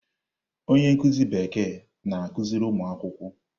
Onye nkuzi Bekee na-akụziri ụmụ akwụkwọ.